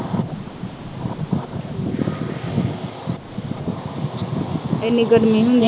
ਇੰਨੀ ਗਰਮੀ ਹੁੰਦੀ ਆ।